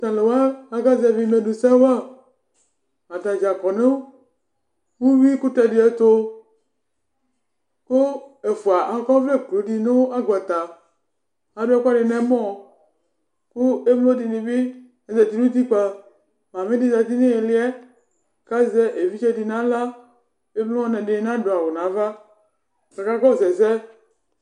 Tʋ alʋ wa aƙa zɛvɩ ilevle sɛ waAta ɖza ƙɔ nʋ uyui ƙʋtɛ ɖɩ ɛtʋƘʋ ɛfʋa aƙɔ ɔvlɛ bu nɩ nʋ agbata, aɖʋ ɛƙʋɛɖɩ nɛmɔ; ƙʋ emlo ɖɩnɩ bɩ zati nʋ utikpǝMamɩ ɖɩ zati n' ɩhɩlɩɛ kazɛ evidze ɖɩ naɣla, edɩnɩ nadʋ awʋ nava ƙakakɔsʋ ɛsɛ